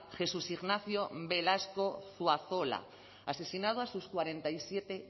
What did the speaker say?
jesús ignacio velasco zuazola asesinado a sus cuarenta y siete